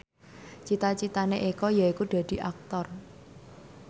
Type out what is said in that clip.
cita citane Eko yaiku dadi Aktor